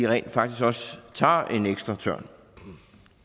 rent faktisk også tager en ekstra tørn